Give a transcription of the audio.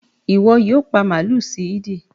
Ìwo yio pa màlú sí Eid